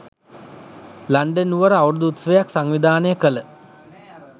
London නුවර අවුරුදු උත්සවයක් සංවිධානය කළ